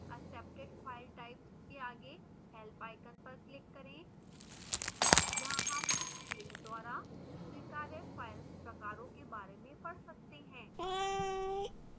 accepted file types के आगे helpआइकन पर click करें यहाँ हम इस field द्वारा स्वीकार्य file प्रकारों के बारे में पढ़ सकते हैं